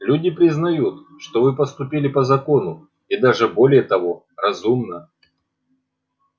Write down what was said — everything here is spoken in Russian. люди признают что вы поступили по закону и даже более того разумно